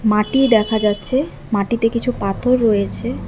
মাটি দেখা যাচ্ছে মাটিতে কিছু পাথর রয়েছে।